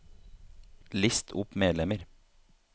list opp medlemmer